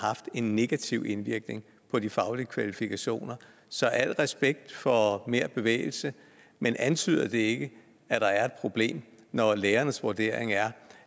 haft en negativ indvirkning på de faglige kvalifikationer så al respekt for mere bevægelse men antyder det ikke at der er et problem når lærernes vurdering er